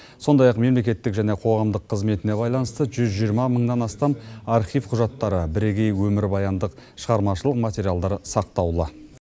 сондай ақ мемлекеттік және қоғамдық қызметіне байланысты жүз жиырма мыңнан астам архив құжаттары бірегей өмірбаяндық шығармашылық материалдар сақтаулы